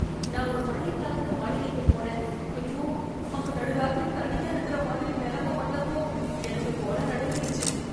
நான் ஒரு பழைய காலத்து மாளிகைக்குப் போனேன், ஐயோ, அங்க நடுராத்திரி தனியா இருக்கிற மாதிரி நிலமை வந்தப்போ எனக்கு குலை நடுங்கிடுச்சு.